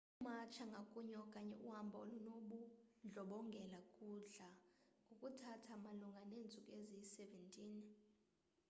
ukumatsha ngakunye okanye uhamba olunobundlobongela kudla ngokuthatha malunga neentsuku eziyi-17